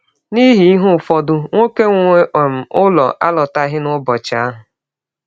N’ihi ihe ụfọdụ, nwọke nwe um ụlọ alọtaghị n’ụbọchị ahụ.